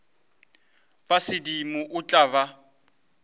ba sedimo o tla ba